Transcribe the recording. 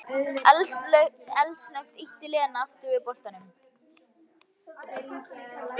Eldsnöggt ýtti Lena aftur við bollanum.